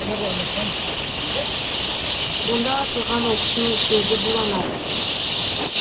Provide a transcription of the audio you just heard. онда атылған оқтың өзі буланар